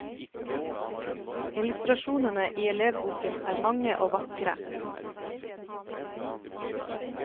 Illustrasjonene i elevboken er mange og vakre.